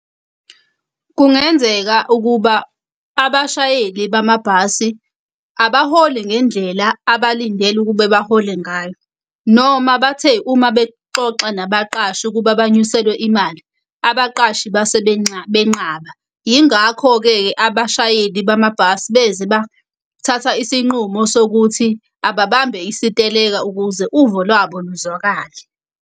Kungenzeka ukuba abashayeli bamabhasi abaholi ngendlela abalindeli ukube bahole ngayo. Noma bathe uma bexoxa nabaqashi ukuba banyuselwe imali, abaqashi base benqaba. Yingakho-ke abashayeli bamabhasi beze bathatha isinqumo sokuthi ababambe isiteleka ukuze uvo lwabo luzwakale.